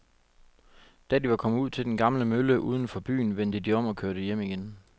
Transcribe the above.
Da de var kommet ud til den gamle mølle uden for byen, vendte de om og kørte hjem igen.